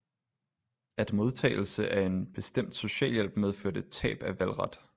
At modtagelse af en bestemt socialhjælp medførte tab af valgret